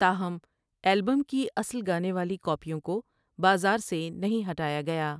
تاہم البم کی اصل گانے والی کاپیوں کو بازاروں سے نہیں ہٹایا گیا ۔